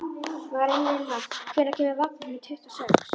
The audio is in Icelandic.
Marinella, hvenær kemur vagn númer tuttugu og sex?